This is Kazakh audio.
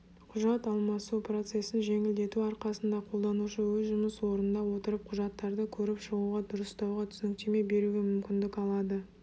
құжат алмасу процесін жеңілдету арқасында қолданушы өз жұмыс орнында отырып құжаттарды көріп шығуға дұрыстауға түсініктеме беруге мүмкіндік алады